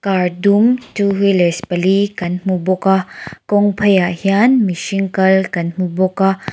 car dum two wheelers pali kan hmu bawk a kawng pheiah hian mihring kal kan hmu bawk a.